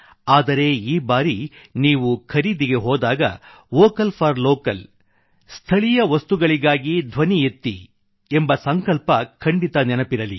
ಆದರೆ ಈ ಬಾರಿ ನೀವು ಖರೀದಿಗೆ ಹೋದಾಗ ವೋಕಲ್ ಫಾರ್ ಲೋಕಲ್ ಎಂಬ ಸಂಕಲ್ಪ ಖಂಡಿತ ನೆನಪಿರಲಿ